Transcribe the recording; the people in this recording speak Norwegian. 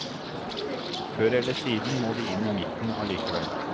Før eller siden må de inn i midten allikevel.